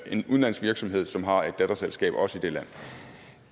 en udenlandsk virksomhed som har et datterselskab også i det land